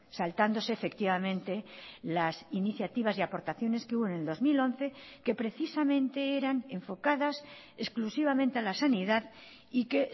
saltándose efectivamente las iniciativas y aportaciones que hubo en el dos mil once que precisamente eran enfocadas exclusivamente a la sanidad y que